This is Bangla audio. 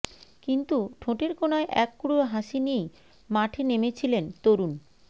কিন্তু ঠোঁটের কোনায় এক ক্রুড় হাসি নিয়েই মাঠে নেমেছিলেন তরুণ